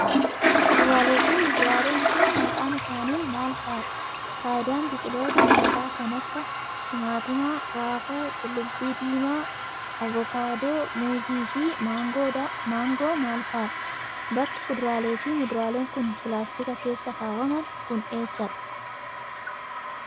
Kuduraalee fi muduraaleen kun, maqaan isaanii maal faa dha? Faayiaan biqiloota nyaataa kan akka timaatimaa, raafuu, qullubbii diimaa, avokaadoo, muuzii fi maangoo maal faa dha? Bakki kuduraalee fi muduraaleen kun pilaastika keessa kaawwaman kun eessa dha?